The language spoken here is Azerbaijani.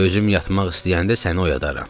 Özüm yatmaq istəyəndə səni oyadaram.